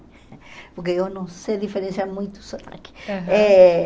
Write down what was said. Porque eu não sei diferenciar muito isso aqui. Aham. Eh